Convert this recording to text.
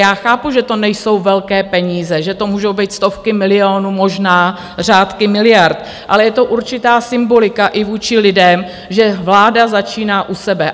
Já chápu, že to nejsou velké peníze, že to můžou být stovky milionů, možná řádky miliard, ale je to určitá symbolika i vůči lidem, že vláda začíná u sebe.